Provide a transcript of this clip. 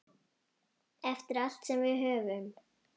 Eftir allt sem við höfum.